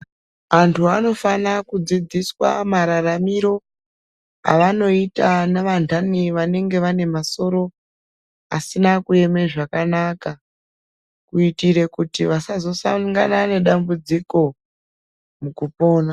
Antu anofane kudzidziswa mararamiro avanoita navantani vanenge vanemasoro asina kueme zvakanaka, kuitire kuti vasazosangana nedambudziko mukupona.